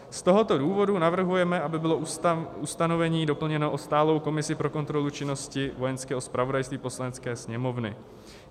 Z tohoto důvodu navrhujeme, aby bylo ustanovení doplněno o stálou komisi pro kontrolu činnosti Vojenského zpravodajství Poslanecké sněmovny.